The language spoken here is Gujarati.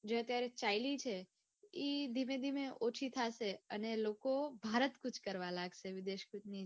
જે અત્યારે ચાયલી છે ઈ ધીમે ધીમે ઓછી થશે અને લોકો ભારત કૂચ કરવા લાગશે વિદેશ કૂચની જગ્યાએ